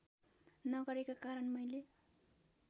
नगरेका कारण मैले